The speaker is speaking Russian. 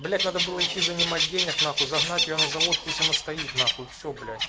блять надо было идти занимать денег на хуй загнать его на завод пусть оно стоит на хуй все блять